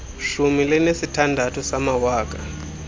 shumi linesithandathu samawaka